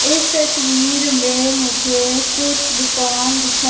इस तस्वीर मे मुझे कुछ दुकान दिखा--